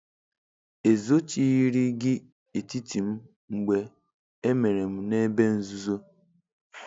"Ezochirighị gị etiti m mgbe emere m n'ebe nzuzo.